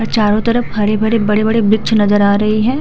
और चारों तरफ हरे-भरे बड़े-बड़े वृक्ष नजर आ रहे हैं।